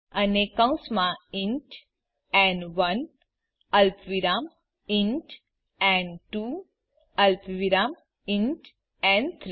અને કૌંસમાં int n one અલ્પવિરામ ઇન્ટ ન2 અલ્પવિરામ ઇન્ટ ન3